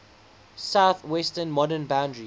southwestern modern boundary